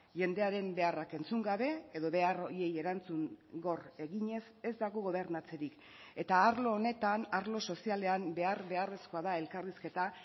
jendearen beharrak entzun gabe edo behar horiei erantzun gor eginez ez dago gobernatzerik eta arlo honetan arlo sozialean behar beharrezkoa da elkarrizketa